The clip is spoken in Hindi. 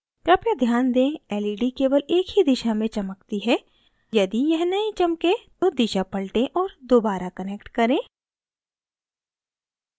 कृपया ध्यान दें led केवल एक ही दिशा में चमकती है यदि यह नहीं चमके तो दिशा पलटे और दोबारा connect करें